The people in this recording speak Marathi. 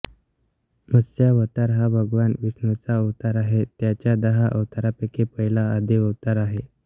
मत्स्यावतार हा भगवान विष्णूचा अवतार आहे त्याच्या दहा अवतारांपैकी पहिला आदिअवतार आहे